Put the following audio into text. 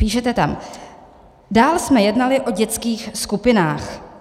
Píšete tam: "Dál jsme jednali o dětských skupinách.